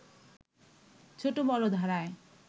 ছোট বড় ধারায়